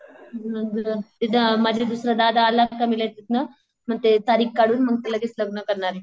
माझा दुसरा दादा आला का मग ते तारीख काढून मग ते लगेच लग्न करणारे.